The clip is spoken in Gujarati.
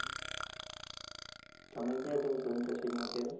તમે ક્યાં જાઓ છો internship માં અત્યારે?